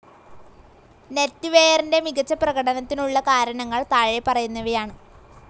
Net വെയറിൻ്റെ മികച്ച പ്രകടനത്തിനുള്ള കാരണങ്ങൾ താഴെപ്പറയുന്നവയാണ്.